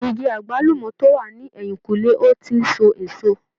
Igi àgbálùmọ̀ tó wà ní ẹ̀yìnǹkùlé ò ì tí ì so èso.